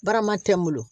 Barama tɛ n bolo